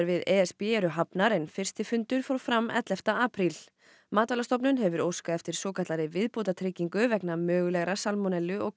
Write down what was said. við e s b eru hafnar en fyrsti fundur fór fram ellefta apríl matvælastofnun hefur óskað eftir svokallaðri viðbótartryggingu vegna mögulegra salmonellu og